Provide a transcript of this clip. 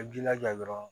A jilaja dɔrɔn